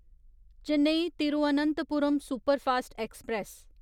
Chennai Thiruvananthapuram superfast express